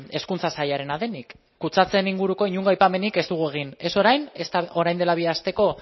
hezkuntza sailaren denik kutsatzearen inguruko inongo aipamenik ez dugu egin ez orain ezta orain dela bi asteko